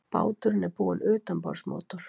Báturinn er búinn utanborðsmótor